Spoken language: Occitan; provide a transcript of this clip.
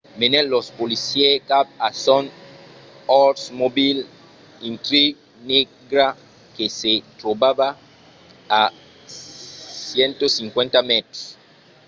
menèt los policièrs cap a son oldsmobile intrigue negra que se trobava a 150 mètres